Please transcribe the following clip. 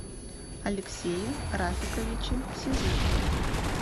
алексее рафиковиче сизых